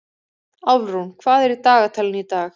Álfrún, hvað er á dagatalinu í dag?